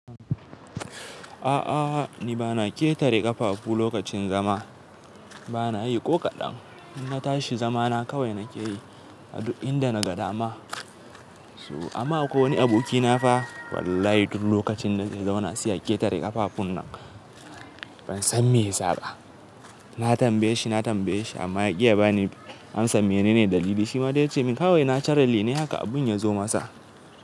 A'a ni bana ƙetare ƙafafu lokacin zama, bana yi ko kaɗan. In na tashi zama na kawai nake yi a duk inda na ga dama. Amma Akwai wani aboki na fa wallahi duk lokacin da zai zauna sai ya ƙetare ƙafafun nan. Ban san me ya saba. Na tambaye shi, na tambaye shi amma ya ƙi ya bani amsa. Mene ne dalili? Shima dai ya ce min kawai naturally ne haka abun ya zo masa.